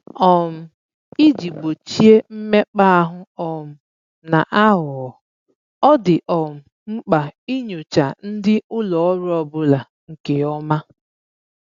um Iji gbochie mmekpa ahụ um na aghụghọ, ọ dị um mkpa inyocha ndị ụlọ ọrụ ọbụla nke ọma